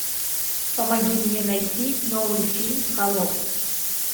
помоги мне найти новый фильм холоп